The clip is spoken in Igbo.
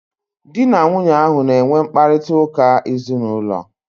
Dị na nwunye ahu na enwe mkparịta ụka ezinaụlọ